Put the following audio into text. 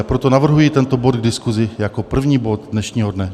A proto navrhuji tento bod k diskusi jako první bod dnešního dne.